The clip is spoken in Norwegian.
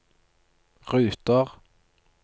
ruter